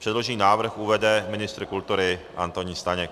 Předložený návrh uvede ministr kultury Antonín Staněk.